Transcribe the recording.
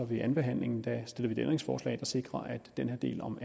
ved andenbehandlingen og stiller et ændringsforslag der sikrer at den her del om